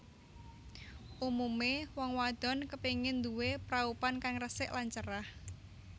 Umumé wong wadon kepengin nduwé praupan kang resik lan cerah